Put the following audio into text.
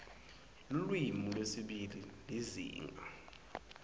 lulwimi lwesibili lizinga